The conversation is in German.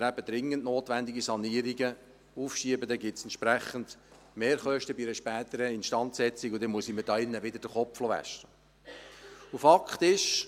Wenn wir dringend notwendige Sanierungen aufschieben, führt dies bei einer späteren Instandsetzung zu entsprechenden Mehrkosten, und dann muss ich mir hier wieder den Kopf waschen lassen.